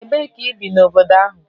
Ebee ka ị bi n'obodo ahụ?